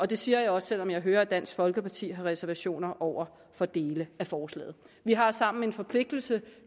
det siger jeg også selv om jeg hører at dansk folkeparti har reservationer over for dele af forslaget vi har sammen en forpligtelse